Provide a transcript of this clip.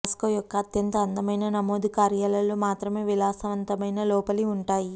Moscow యొక్క అత్యంత అందమైన నమోదు కార్యాలయాలలో మాత్రమే విలాసవంతమైన లోపలి ఉంటాయి